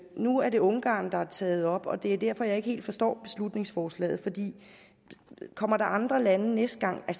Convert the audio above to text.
nu er det ungarn der er taget op og det er derfor jeg ikke helt forstår beslutningsforslaget kommer der andre lande næste gang der